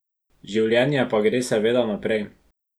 Življenje pa gre seveda naprej.